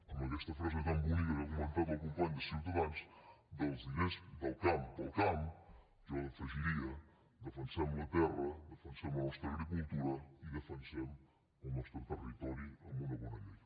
amb aquesta frase tan bonica que ha comentat el company de ciutadans dels diners del camp per al camp jo hi afegiria defensem la terra defensem la nostra agricultura i defensem el nostre territori amb una bona llei